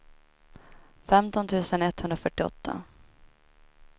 femton tusen etthundrafyrtioåtta